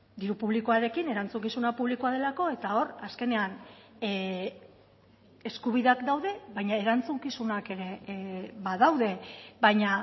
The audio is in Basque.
diru publikoarekin erantzukizuna publikoa delako eta hor azkenean eskubideak daude baina erantzukizunak ere badaude baina